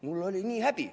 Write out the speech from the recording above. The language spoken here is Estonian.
" Mul oli nii häbi.